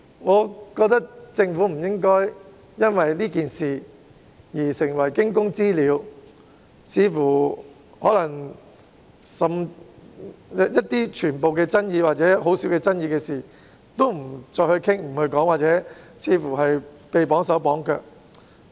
我覺得政府不應因為這次事件而成為驚弓之鳥，不再討論所有富爭議性，甚至只涉及很少爭議的事情，似乎因而"綁手綁腳"。